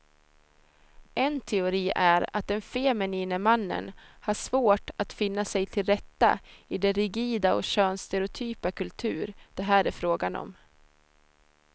En teori är att den feminine mannen har svårt att finna sig tillrätta i den rigida och könsstereotypa kultur det här är frågan om.